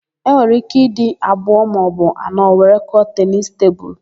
E nwere íké ịdị abụọ maọbụ anọ were kụọ tenisi tebulu.